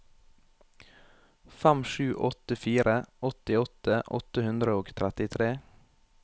fem sju åtte fire åttiåtte åtte hundre og trettitre